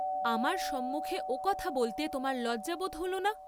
আমার সম্মুখে ও কথা বলতে তোমার লজ্জা বোধ হল না?